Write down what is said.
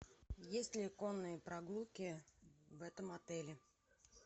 есть ли конные прогулки в этом отеле